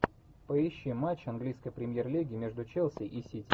поищи матч английской премьер лиги между челси и сити